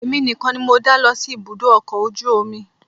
Èmi nìkan ni mo dá lọ sí ibùdó ọkọ̀ ojú omi